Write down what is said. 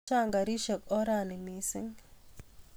Chang' karisyek orani missing'